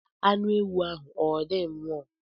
Anụ ewu ahụ ọ dị nro?